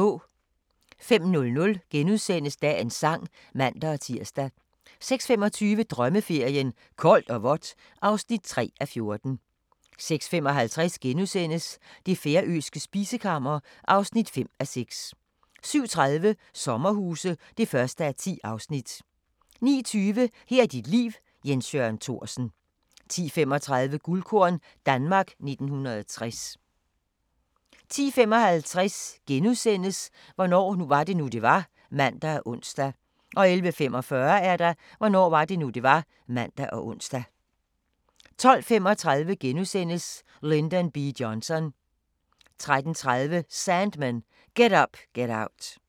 05:00: Dagens Sang *(man-tir) 06:25: Drømmeferien: Koldt og vådt (3:14) 06:55: Det færøske spisekammer (5:6)* 07:30: Sommerhuse (1:10) 09:20: Her er dit liv – Jens Jørgen Thorsen 10:35: Guldkorn - Danmark 1960 10:55: Hvornår var det nu, det var? *(man og ons) 11:45: Hvornår var det nu, det var? (man og ons) 12:35: Lyndon B. Johnson * 13:30: Sandmen – Get Up Get Out